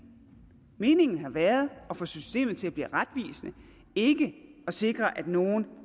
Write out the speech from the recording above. meningen har været at få systemet til at blive retvisende ikke at sikre at nogle